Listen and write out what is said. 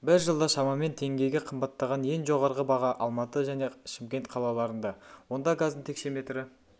бір жылда шамамен теңгеге қымбаттаған ең жоғарғы баға алматы және шымкент қалаларында онда газдың текшеметрі